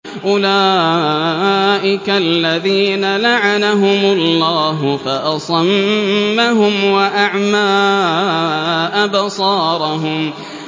أُولَٰئِكَ الَّذِينَ لَعَنَهُمُ اللَّهُ فَأَصَمَّهُمْ وَأَعْمَىٰ أَبْصَارَهُمْ